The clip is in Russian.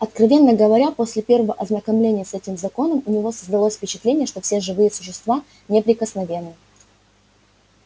откровенно говоря после первого ознакомления с этим законом у него создалось впечатление что все живые существа неприкосновенны